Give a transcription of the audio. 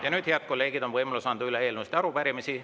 Ja nüüd, head kolleegid, on võimalus anda üle eelnõusid ja arupärimisi.